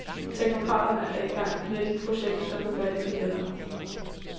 Teknokraterne er i gang med et nyt projekt, som skal gøre livet lettere, .